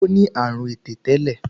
Ṣé ó ní àrùn ẹ̀tẹ̀ tẹ́lẹ̀?